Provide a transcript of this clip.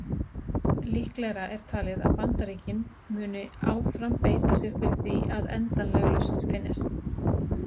Líklegra er talið að Bandaríkin muni áfram beita sér fyrir því að endanleg lausn finnist.